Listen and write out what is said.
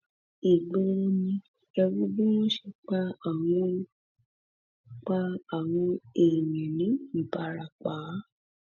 ìgboro ni ẹ wo bí wọn ṣe pa àwọn pa àwọn èèyàn ní ìbarapá